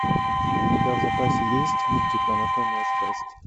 у тебя в запасе есть мультик анатомия страсти